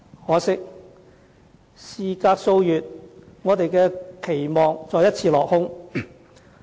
可惜，事隔數月，我們的期望再一次落空。